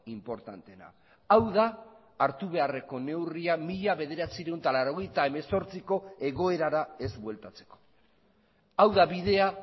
inportanteena hau da hartu beharreko neurria mila bederatziehun eta laurogeita hemezortziko egoerara ez bueltatzeko hau da bidea